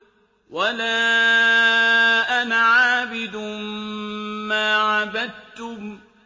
وَلَا أَنَا عَابِدٌ مَّا عَبَدتُّمْ